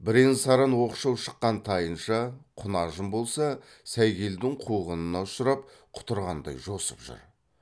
бірен саран оқшау шыққан тайынша құнажын болса сәйгелдің қуғынына ұшырап құтырғандай жосып жүр